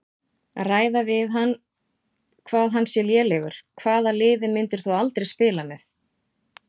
Ræða við um hann hvað hann sé lélegur Hvaða liði myndir þú aldrei spila með?